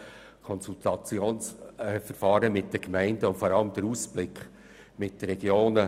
Mangelhaft ist vor allem der Ausblick bezüglich der Regionen.